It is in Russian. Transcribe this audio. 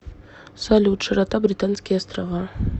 салют широта британские острова